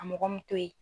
A mɔgɔ min to ye